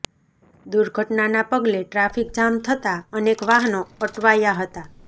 દુર્ઘટનાના પગલે traffic jam થતા અનેક વાહનો અટવાયા હતા